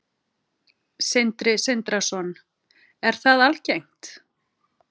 Sindri Sindrason: Er það algengt?